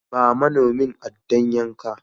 Ba manomin aɗɗan yankan.